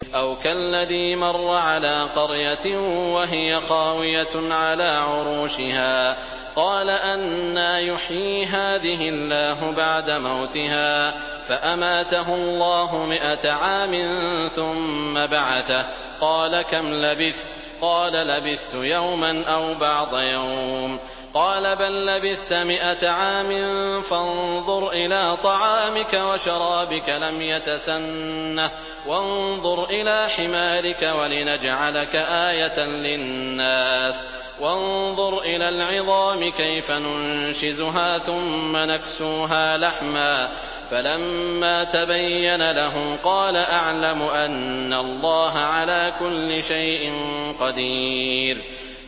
أَوْ كَالَّذِي مَرَّ عَلَىٰ قَرْيَةٍ وَهِيَ خَاوِيَةٌ عَلَىٰ عُرُوشِهَا قَالَ أَنَّىٰ يُحْيِي هَٰذِهِ اللَّهُ بَعْدَ مَوْتِهَا ۖ فَأَمَاتَهُ اللَّهُ مِائَةَ عَامٍ ثُمَّ بَعَثَهُ ۖ قَالَ كَمْ لَبِثْتَ ۖ قَالَ لَبِثْتُ يَوْمًا أَوْ بَعْضَ يَوْمٍ ۖ قَالَ بَل لَّبِثْتَ مِائَةَ عَامٍ فَانظُرْ إِلَىٰ طَعَامِكَ وَشَرَابِكَ لَمْ يَتَسَنَّهْ ۖ وَانظُرْ إِلَىٰ حِمَارِكَ وَلِنَجْعَلَكَ آيَةً لِّلنَّاسِ ۖ وَانظُرْ إِلَى الْعِظَامِ كَيْفَ نُنشِزُهَا ثُمَّ نَكْسُوهَا لَحْمًا ۚ فَلَمَّا تَبَيَّنَ لَهُ قَالَ أَعْلَمُ أَنَّ اللَّهَ عَلَىٰ كُلِّ شَيْءٍ قَدِيرٌ